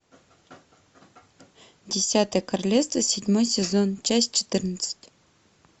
десятое королевство седьмой сезон часть четырнадцать